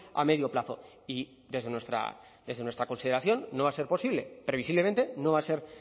a medio plazo y desde nuestra consideración no va a ser posible previsiblemente no va a ser